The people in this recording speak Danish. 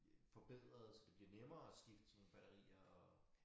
Øh forbedre så det nemmere at skifte sådan batterier at